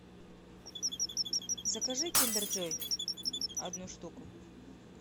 закажи киндер джой одну штуку